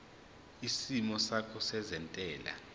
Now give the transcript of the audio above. isimo sakho sezentela